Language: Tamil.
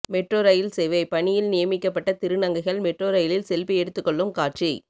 மெட்ரோ ரயில் சேவை பணியில் நியமிக்கப்பட்ட திருநங்கைகள் மெட்ரோ ரயிலில் செல்பி எடுத்துக் கொள்ளும் காட்சி